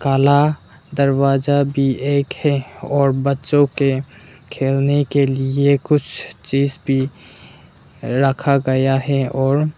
काला दरवाजा भी एक है और बच्चों के खेलने के लिए कुछ चीज भी रखा गया है और --